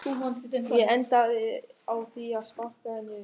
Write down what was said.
Ég endaði á því að sparka henni upp.